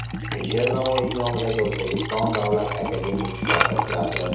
Alisher Navoiy nomidagi O‘zbekiston davlat akademik Katta teatri.